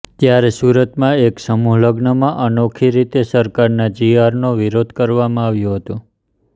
ત્યારે સુરતમાં એક સમૂહ લગ્નમાં અનોખી રીતે સરકારના જીઆરનો વિરોધ કરવામાં આવ્યો હતો